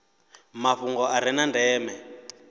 mafhungo a re na ndeme